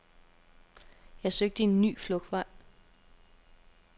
Jeg søgte en ny flugtvej.